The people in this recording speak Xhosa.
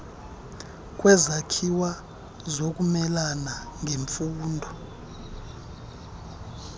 kwezakhiwo zokumelana nemfuno